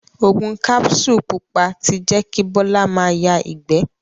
Ògùn kapsulu pupa ti jẹ kí Bola ma ya ìgbé.